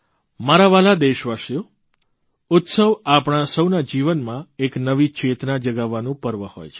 મારા વ્હાલા દેશવાસીઓ ઉત્સવ આપણા સૌના જીવનમાં એક નવી ચેતના જગાવવાનું પર્વ હોય છે